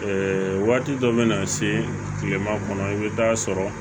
waati dɔ bɛ na se kilema kɔnɔ i bɛ taa sɔrɔ